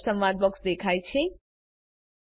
page setup સંવાદ box દેખાય છે